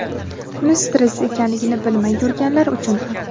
buni stress ekanligini bilmay yurganlar uchun ham.